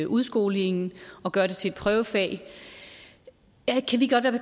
udskolingen og gøre det til et prøvefag